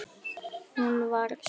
Hún var svöl.